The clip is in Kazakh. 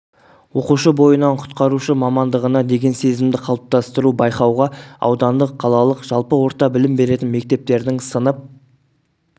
оқушы бойынан құтқарушы мамандығына деген сезімді қалыптастыру байқауға аудандық қалалық жалпы орта білім беретін мектептердің сынып